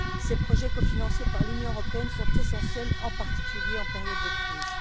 Ces projets, cofinancés par l'Union européenne, sont essentiels, en particulier en période de crise.